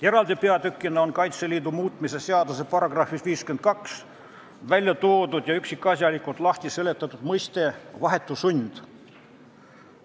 Eraldi peatükina on Kaitseliidu seaduse muutmise seaduse §-s 52 välja toodud ja üksikasjalikult lahti seletatud mõiste "vahetu sund".